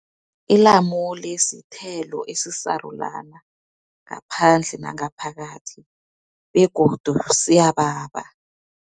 Ilamule sithelo esisarulana ngaphandle nangaphakathi, begodu siyababa.